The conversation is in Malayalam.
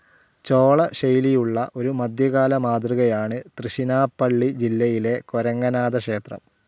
ചോളശൈലിയുടെ ഒരു മധ്യകാല മാതൃകയാണ് തൃശ്ശിനാപ്പള്ളി ജില്ലയിലെ കൊരങ്ങനാഥ ക്ഷേത്രം.